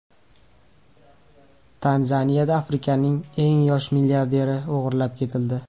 Tanzaniyada Afrikaning eng yosh milliarderi o‘g‘irlab ketildi.